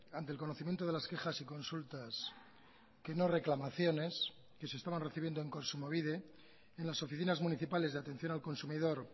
ante el conocimiento de las quejas y consultas que no reclamaciones que se estaban recibiendo en kontsumobide en las oficinas municipales de atención al consumidor